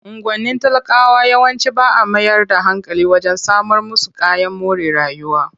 Unguwannin talakawa yawanci ba a mayar da hankali wajen samar musu kayan more rayuwa.